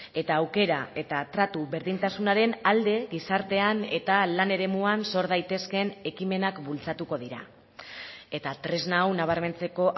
eta aukera eta tratu berdintasunaren alde gizartean eta lan eremuan sor daitezkeen ekimenak bultzatuko dira eta tresna hau nabarmentzeko